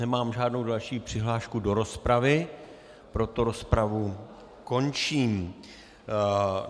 Nemám žádnou další přihlášku do rozpravy, proto rozpravu končím.